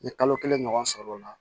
N ye kalo kelen ɲɔgɔn sɔrɔ o la